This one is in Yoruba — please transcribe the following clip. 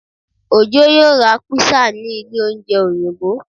Ojó yóò ra pizza ní ilé oúnjẹ Òyìnbó